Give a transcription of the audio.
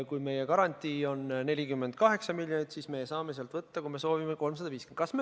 Kui meie garantii on 48 miljonit, siis me saame sealt võtta, kui me soovime, 350 miljonit.